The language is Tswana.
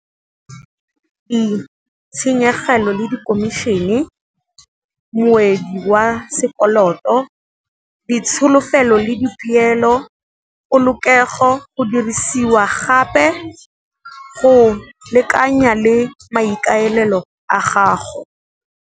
Tshenyegelo le dikhomišene, moedi wa sekoloto, ditsholofelo le dipielo, polokego, go dirisiwa gape go lekanya le maikaelelo a gago.